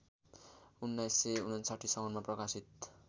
१९५९ साउनमा प्रकाशित